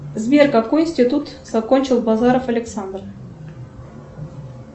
сбер какой институт закончил базаров александр